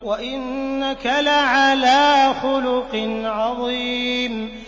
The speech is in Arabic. وَإِنَّكَ لَعَلَىٰ خُلُقٍ عَظِيمٍ